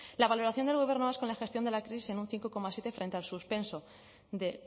la valoración del gobierno vasco en la gestión de la crisis en un cinco coma siete frente al suspenso de